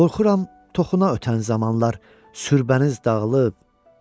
Qorxuram toxuna ötən zamanlar, sübəniz dağılıb.